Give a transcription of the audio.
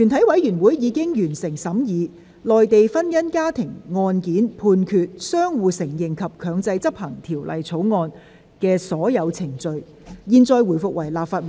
全體委員會已完成審議《內地婚姻家庭案件判決條例草案》的所有程序。現在回復為立法會。